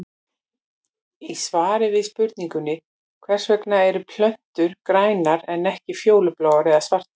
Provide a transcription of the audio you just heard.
Í svari við spurningunni Hvers vegna eru plöntur grænar en ekki fjólubláar eða svartar?